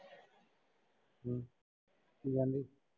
ਕੀ ਆਂਹਦੀ ਫਿਰ।